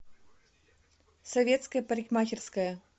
советская парикмахерская